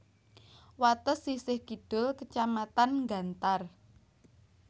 Wates sisih kidul kecamatan Gantar